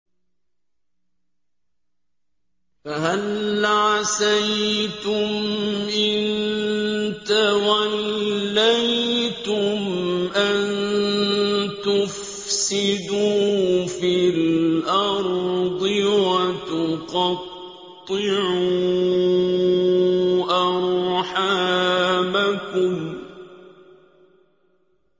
فَهَلْ عَسَيْتُمْ إِن تَوَلَّيْتُمْ أَن تُفْسِدُوا فِي الْأَرْضِ وَتُقَطِّعُوا أَرْحَامَكُمْ